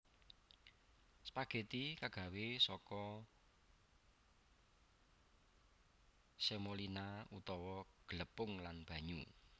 Spageti kagawé saka semolina utawa glepung lan banyu